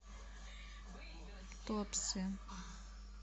туапсе